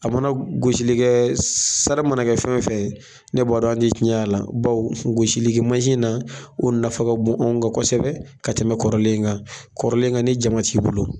A mana golisi kɛ sara mana kɛ fɛn o fɛn ye e b'a dɔn an ti tiɲɛ a la bawu gosilimansin na o nafa ka bon an kan kosɛbɛ ka tɛmɛ kɔrɔlen kan kɔrɔlen kan ni jama t'i bolo